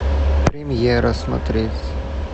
премьера смотреть